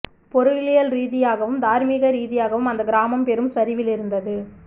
பொருளியல் ரீதியாகவும் தார்மீக ரீதியாகவும் அந்தக் கிராமம் பெரும் சரிவில் இருந்தது